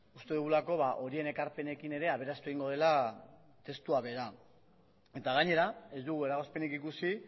uste dugulako horien ekarpenekin ere aberastu egingo dela testua bera eta gainera ez dugu eragozpenik ikusi